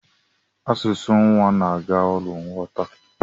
Asụsụ nwa na agha arụ nghọta.